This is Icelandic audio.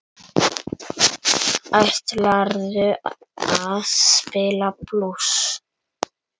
Ætlarðu að spila blús?